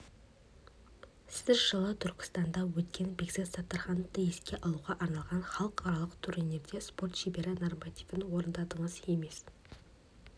сіз жылы түркістанда өткен бекзат саттархановты еске алуға арналған халықаралық турнирінде спорт шебері нормативін орындадыңыз емес